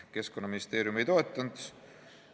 Keskkonnaministeerium ei toetanud seda.